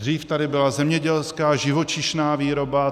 Dřív tady byla zemědělská, živočišná výroba.